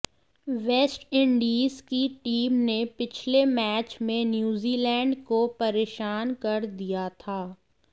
West Indies की team ने पिछले मैच में न्यूज़ीलैंड को परेशान कर दिया था